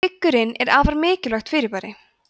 hryggurinn er afar merkilegt fyrirbæri